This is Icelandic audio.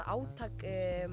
átakið